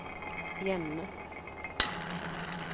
hjemme